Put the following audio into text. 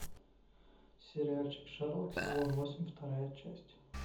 сериальчик шерлок сезон восемь вторая часть